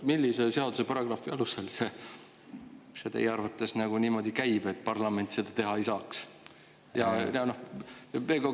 Millise seaduse paragrahvi alusel see teie arvates niimoodi käib, et parlament seda teha ei saaks?